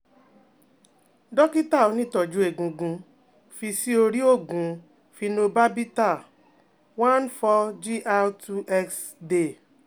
dokita onitoju egungun fi si ori oogun phenobarbital one four Gr two x day